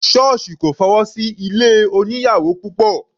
Sọ́ọ̀sì kò fọwọ́ sí ilé oníyàwò púpọ̀.